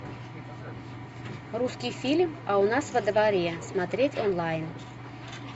русский фильм а у нас во дворе смотреть онлайн